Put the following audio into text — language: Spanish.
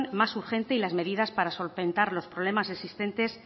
más urgente y las medidas para solventar los problemas existentes